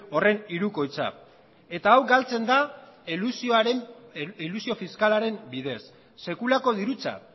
horren hirukoitza eta hau galtzen da elusio fiskalaren bidez sekulako dirutza